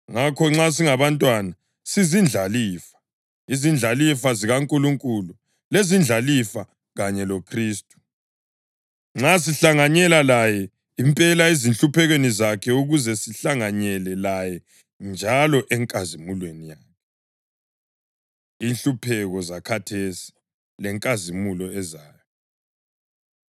Ngakho, nxa singabantwana, sizindlalifa, izindlalifa zikaNkulunkulu lezindlalifa kanye loKhristu, nxa sihlanganyela laye impela ezinhluphekweni zakhe ukuze sihlanganyele laye njalo enkazimulweni yakhe. Inhlupheko Zakhathesi Lenkazimulo Ezayo